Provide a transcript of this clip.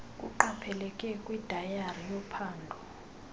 kuqapheleke kwidayari yophando